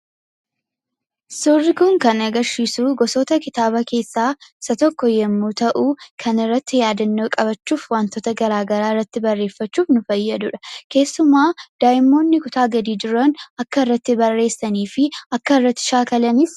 Suurri kun kan agarsiisu gosoota kitaaba keessaa isa tokko yemmuu ta'u, kana irratti yaadannoo qabachuuf, wantoota garaa garaa irratti barreeffachuuf kan nu fayyaduudha. Keessumaa daa'imoonni kutaa gadii jiran akka irratti barreessanii fi akka irratti shaakalaniif.